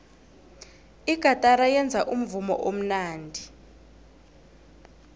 igatara yenza umvumo omnandi